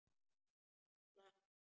Hann slapp þá.